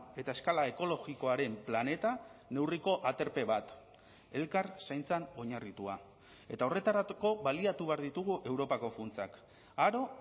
eta eskala ekologikoaren planeta neurriko aterpe bat elkar zaintzan oinarritua eta horretarako baliatu behar ditugu europako funtsak aro